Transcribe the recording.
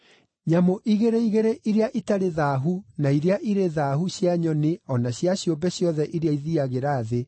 Nyamũ igĩrĩ igĩrĩ iria itarĩ thaahu na iria irĩ thaahu cia nyoni o na cia ciũmbe ciothe iria ithiiagĩra thĩ,